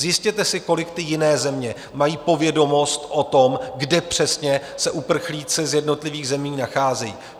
Zjistěte si, kolik ty jiné země mají povědomost o tom, kde přesně se uprchlíci z jednotlivých zemí nacházejí.